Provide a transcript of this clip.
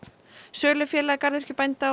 sölufélag garðyrkjubænda